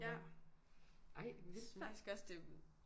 Ja synes faktisk også det